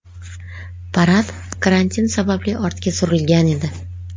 Parad karantin sababli ortga surilgan edi.